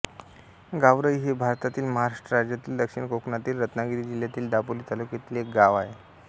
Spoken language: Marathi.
गावरई हे भारतातील महाराष्ट्र राज्यातील दक्षिण कोकणातील रत्नागिरी जिल्ह्यातील दापोली तालुक्यातील एक गाव आहे